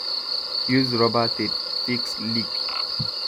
use rubber tape fix leak